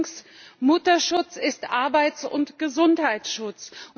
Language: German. Allerdings, Mutterschutz ist Arbeits und Gesundheitsschutz!